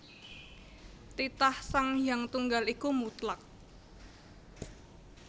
Titah Sang Hyang Tunggal iku mutlak